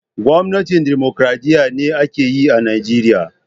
Gwamnatin dimokuradiyya be ake yi a'Nijeriya.